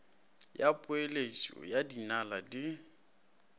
ya peeletšo ya dinaga di